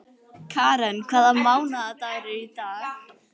Karen, hvaða mánaðardagur er í dag?